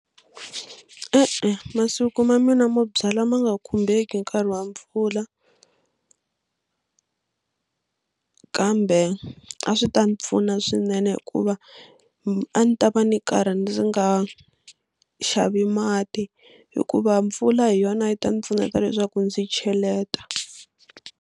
E-e masiku ma mina mo byala ma nga khumbeki hi nkarhi wa mpfula kambe a swi ta ni pfuna swinene hikuva a ni ta va ni karhi ndzi nga xavi mati hikuva mpfula hi yona yi ta ni pfuneta leswaku ndzi cheleta.